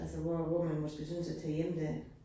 Altså hvor hvor man måske synes at tage hjem der